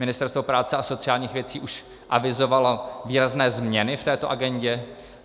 Ministerstvo práce a sociálních věcí už avizovalo výrazné změny v této agendě.